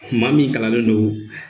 maa min kalannen don